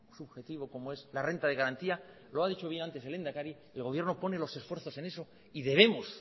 subjetivo como es la renta de garantía lo ha dicho bien antes el lehendakari el gobierno pone los esfuerzos en eso y debemos